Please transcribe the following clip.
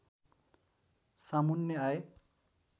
सामुन्ने आए